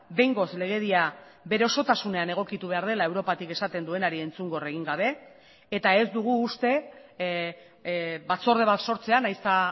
behingoz legedia bere osotasunean egokitu behar dela europatik esaten duenari entzun gor egin gabe eta ez dugu uste batzorde bat sortzea nahiz eta